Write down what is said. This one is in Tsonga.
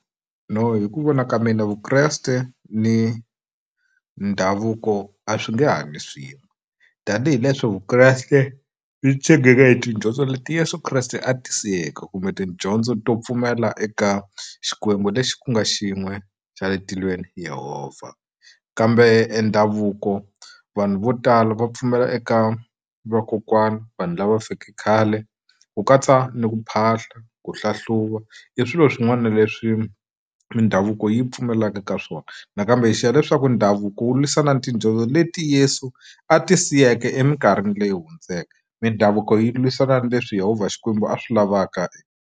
No hi ku vona ka mina Vukreste ni ndhavuko a swi nge hanyi swin'we tanihileswi Vukreste byi ti tshegeke hi tidyondzo leti Yeso Kreste a ti siyeke kumbe tidyondzo to pfumela eka Xikwembu lexi ku nga xin'we xa le etilweni Yehovha kambe ndhavuko vanhu vo tala va pfumela eka vakokwana vanhu lava va feke khale ku katsa ni ku phahla ku hlahluva i swilo swin'wana leswi mindhavuko yi pfumelaka ka swona nakambe hi xiya leswaku ndhavuko wu lwisana na tidyondzo leti Yesu a ti siyeke eminkarhini leyi hundzeke mindhavuko yi lwisana na leswi Yehovha Xikwembu a swi lavaka.